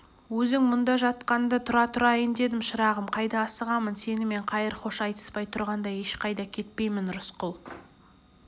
өзің мұнда жатқанда тұра тұрайын дедім шырағым қайда асығамын сенімен қайыр-хош айтыспай тұрғанда ешқайда кетпеймін рысқұл